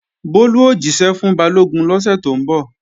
Bólú ó jíṣẹ́ fún Balógun lọ́sẹ̀ tó ń bọ̀